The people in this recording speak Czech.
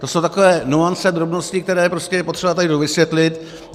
To jsou takové nuance, drobnosti, které je potřeba tady dovysvětlit.